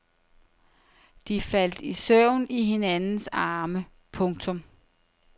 De faldt i søvn i hinandens arme. punktum